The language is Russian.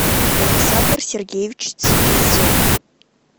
александр сергеевич цибизов